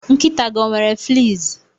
Nkịta gị ọ nwere fleas?